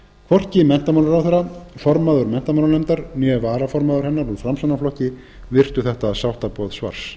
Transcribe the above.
hvorki menntamálaráðherra formaður menntamálanefndar né varaformaður hennar úr framsóknarflokki virtu þetta sáttaboð svars